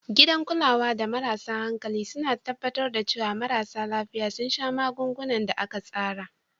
Gidan kulawa da marasa hankali suna tabbatar da cewa marasa lafiya sun sha magungunan da aka tsara.